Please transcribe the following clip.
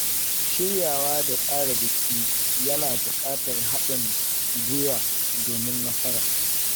Shiryawa da tsara biki yana buƙatar haɗin gwiwa domin nasara.